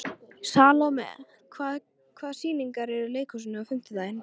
Salome, hvaða sýningar eru í leikhúsinu á fimmtudaginn?